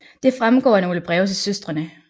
Det fremgår af nogle breve til søstrene